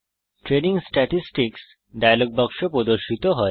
training statistics dialog বাক্স প্রদর্শিত হয়